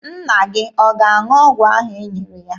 Nna gị ọ ga-aṅụ ọgwụ ahụ e nyere ya?